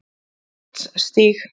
Vatnsstíg